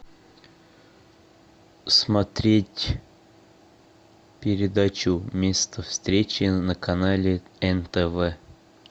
смотреть передачу место встречи на канале нтв